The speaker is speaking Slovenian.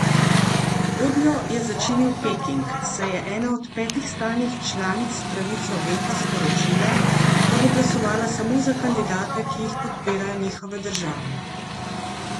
Godljo je začinil Peking, saj je ena od petih stalnih članic s pravico veta sporočila, da bo glasovala samo za kandidate, ki jih podpirajo njihove države.